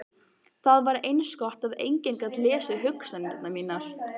Það var eins gott að enginn gat lesið hugsanir mínar.